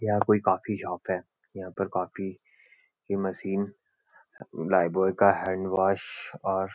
यहाँ कोई coffee shop है यहाँ पर कॉफी की मशीन लाइफ़बॉय का हैन्डवाश और --